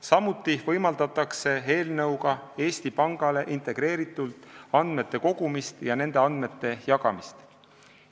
Samuti võimaldatakse eelnõuga Eesti Pangal integreeritult andmeid koguda ja neid andmeid jagada.